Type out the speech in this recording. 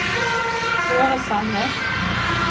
Kaare Sandnes